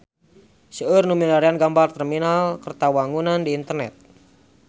Seueur nu milarian gambar Terminal Kertawangunan di internet